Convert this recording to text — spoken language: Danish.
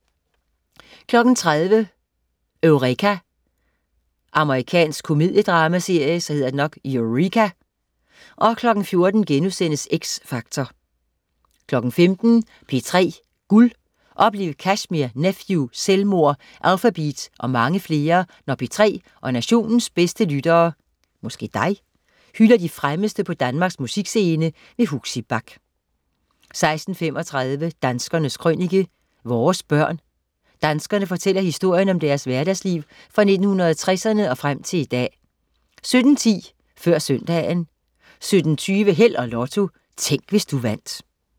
13.00 Eureka. Amerikansk komediedramaserie 14.00 X Factor* 15.00 P3 Guld. Oplev Kashmir, Nephew, Selvmord, Alphabeat og mange flere, når P3 og nationens bedste lyttere (dig?) hylder de fremmeste på Danmarks musikscene. Huxi Bach 16.35 Danskernes Krønike. Vores børn. Danskerne fortæller historien om deres hverdagsliv fra 1960'erne og frem til i dag 17.10 Før søndagen 17.20 Held og Lotto. Tænk, hvis du vandt